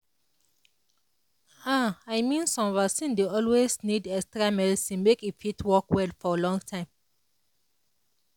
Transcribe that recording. ah i mean some vaccine dey always need extra medicine make e fit work well for long time